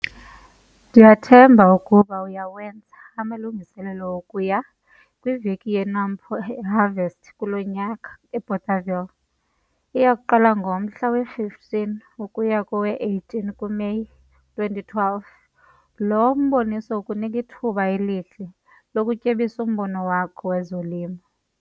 Ndiyathemba ukuba uyawenza amalungiselelo okuya kwiVeki yeNampo Harvest kulo nyaka eBothaville. Iya kuqala ngomhla we-15 ukuya kowe-18 kuMeyi 2012. Lo mboniso ukunika ithuba elihle lokutyebisa umbono wakho wezolimo.